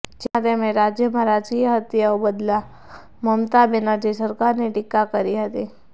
જેમાં તેમણે રાજ્યમાં રાજકીય હત્યાઓ બદલ મમતા બેનરજી સરકારની ટીકા કરી હતી